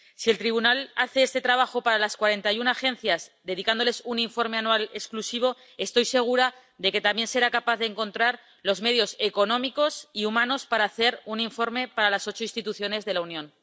Si el Tribunal hace este trabajo para las 41 agencias, dedicándoles un informe anual exclusivo, estoy segura de que también será capaz de encontrar los medios económicos y humanos para hacer un informe para las ocho instituciones de la Unión.